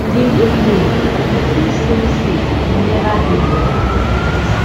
di nickname di keystone state neva dey more appropriate